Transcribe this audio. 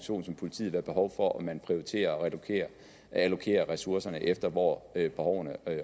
som politiet være behov for at man prioriterer at allokere ressourcerne alt efter hvor behovene